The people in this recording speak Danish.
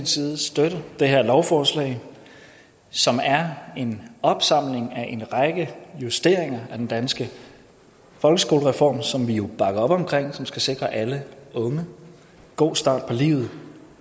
side støtte det her lovforslag som er en opsamling af en række justeringer af den danske folkeskolereform som vi jo bakker op om og som skal sikre alle unge en god start på livet